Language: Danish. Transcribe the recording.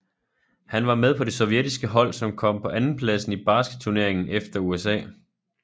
Han var med på det sovjetiske hold som kom på andenpladsen i basketturneringen efter USA